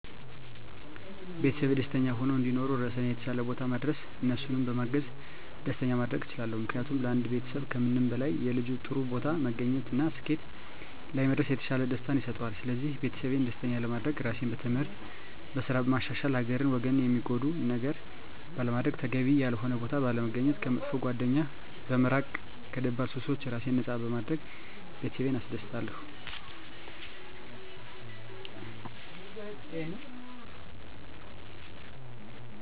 ቤተሰቤ ደስተኛ ሁነው እንዲኖሩ ራሴን የተሻለ ቦታ ማድረስ እነሱንም በማገዝ ደስተኛ ማድረግ እችላለሁ። ምክንያቱም ለአንድ ቤተሰብ ከምንም በላይ የልጁ ጥሩ ቦታ መገኘት እና ስኬት ላይ መድረስ የተሻለ ደስታን ይሰጠዋል ስለዚህ ቤተሰቤን ደስተኛ ለማድረግ ራሴን በትምህርት፣ በስራ በማሻሻል ሀገርን ወገንን ሚጎዳ ነገር ባለማድረግ፣ ተገቢ ያልሆነ ቦታ ባለመገኘት፣ ከመጥፎ ጓደኛ በመራቅ ከደባል ሱሶች ራሴን ነፃ በማድረግ ቤተሰቤን አስደስታለሁ።